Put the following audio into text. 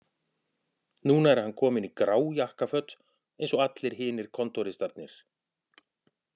Núna er hann kominn í grá jakkaföt eins og allir hinir kontóristarnir